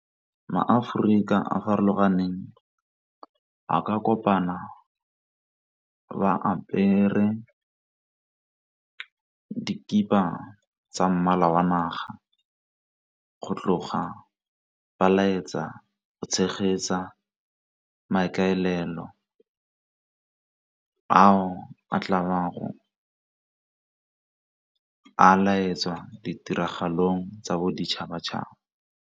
Ma-Aforika a farologaneng a ka kopana ba apere dikipa tsa mmala wa naga, go tloga ba laetsa go tshegetsa maikaelelo ao a tla a laetsa ditiragalong tsa boditšhabatšhaba.